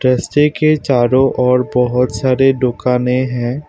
रस्ते चारों ओर बहुत सारे डूकानें हैं।